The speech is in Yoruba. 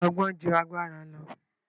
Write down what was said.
Ọgbọ́n ju agbára lọ